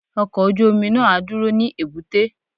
Ọkọ̀ ojú omi náà á dúró ní èbúté.